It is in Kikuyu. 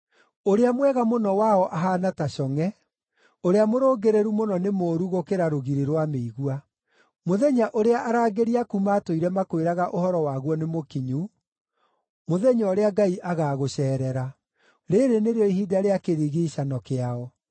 Ũrĩa mwega mũno wao ahaana ta congʼe, ũrĩa mũrũngĩrĩru mũno nĩ mũũru gũkĩra rũgiri rwa mĩigua. Mũthenya ũrĩa arangĩri aku matũire makwĩraga ũhoro waguo nĩmũkinyu, mũthenya ũrĩa Ngai agaagũceerera. Rĩĩrĩ nĩrĩo ihinda rĩa kĩrigiicano kĩao.